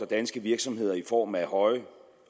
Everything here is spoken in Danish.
danske virksomheder i form af høje